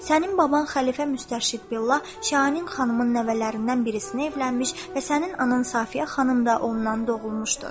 Sənin baban xəlifə Müstəşidbillah, Şahinin xanımın nəvələrindən birisini evlənmiş və sənin anan Safiyə xanım da ondan doğulmuşdur.